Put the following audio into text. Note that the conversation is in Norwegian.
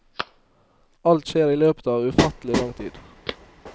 Alt skjer i løpet av ufattelig lang tid.